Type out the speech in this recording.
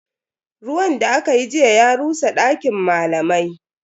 Ruwan da akayi jiya ya rusa dakin malamai.